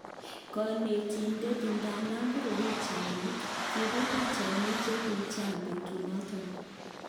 Konetidet idadan bire pichainik ,kibir pichainik chekiicheken betunoton